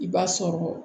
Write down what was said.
I b'a sɔrɔ